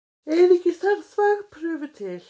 Einungis þarf þvagprufu til.